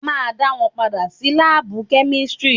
A ma dá wọn padà sí lábù kẹ́místrì.